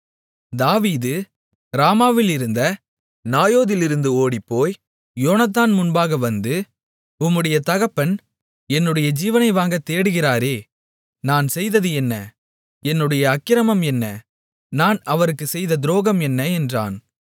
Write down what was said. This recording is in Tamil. தாவீது ராமாவிலிருந்த நாயோதிலிருந்து ஓடிப்போய் யோனத்தான் முன்பாக வந்து உம்முடைய தகப்பன் என்னுடைய ஜீவனை வாங்கத் தேடுகிறாரே நான் செய்தது என்ன என்னுடைய அக்கிரமம் என்ன நான் அவருக்குச் செய்த துரோகம் என்ன என்றான்